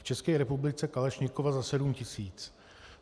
V České republice kalašnikova za sedm tisíc.